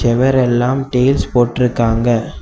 சுவரெல்லாம் tiles போட்டு இருக்காங்க.